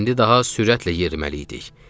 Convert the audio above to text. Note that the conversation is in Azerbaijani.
İndi daha sürətlə yeriməli idik.